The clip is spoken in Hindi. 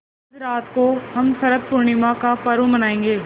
आज रात को हम शरत पूर्णिमा का पर्व मनाएँगे